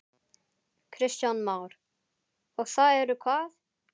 Kristján Már: Og það eru hvað?